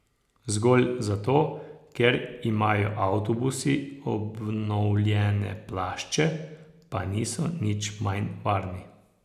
Zgolj zato, ker imajo avtobusi obnovljene plašče, pa niso nič manj varni.